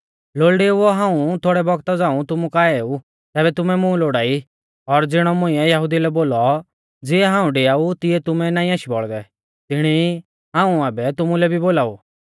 लोल़डेउओ हाऊं थोड़ै बौगता झ़ांऊ तुमु काऐ ऊ तैबै तुमै मुं लोड़ाई और ज़िणौ मुंइऐ यहुदिऊ लै बोलौ ज़िऐ हाऊं डिआऊ तिऐ तुमै नाईं आशी बौल़दै तिणी ई हाऊं आबै तुमुलै भी बोलाऊ